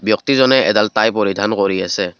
ব্যক্তিজনে এডাল টাই পৰিধান কৰি আছে।